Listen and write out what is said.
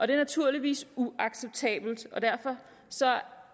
det er naturligvis uacceptabelt og derfor